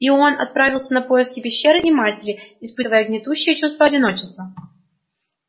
и он отправился на поиски пещеры и матери испытывая гнетущее чувство одиночества